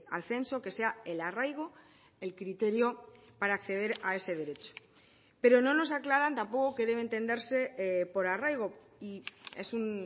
al censo que sea el arraigo el criterio para acceder a ese derecho pero no nos aclaran tampoco qué debe entenderse por arraigo y es un